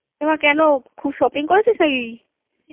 এমা কেন খুব Shoppingকরেছিস নাকি?